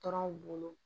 Tɔrɔnw bolo